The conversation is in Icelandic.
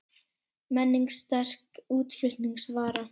Menning sterk útflutningsvara